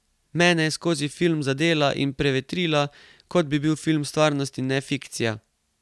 Mene je skozi film zadela in prevetrila, kot bi bil film stvarnost in ne fikcija!